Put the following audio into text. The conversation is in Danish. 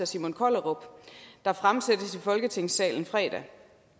simon kollerup der fremsættes i folketingssalen fredag